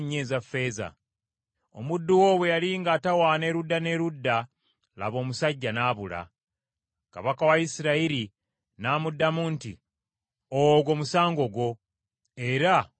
Omuddu wo bwe yali ng’atawaana erudda n’erudda, laba omusajja n’abula.” Kabaka wa Isirayiri n’amuddamu nti, “Ogwo musango gwo, era ogwesalidde.”